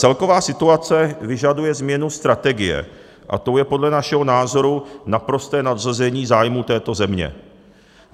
Celková situace vyžaduje změnu strategie, a tou je podle našeho názoru naprosté nadřazení zájmů této země.